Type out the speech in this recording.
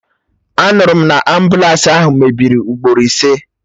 Anụrụ m na ambụlansi ahụ mebiri ugboro ise